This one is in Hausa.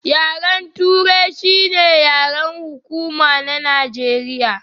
Yaren turai shi ne yaren hukuma na Najeriya.